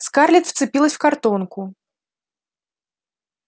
скарлетт вцепилась в картонку